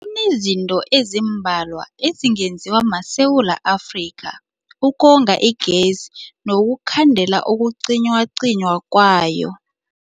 Kunezinto ezimbalwa ezingenziwa maSewula Afrika ukonga igezi nokukhandela ukucinywacinywa kwayo.